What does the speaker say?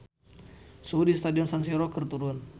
Suhu di Stadion San Siro keur turun